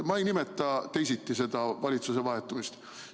Ma ei nimeta teisiti seda valitsuse vahetumist.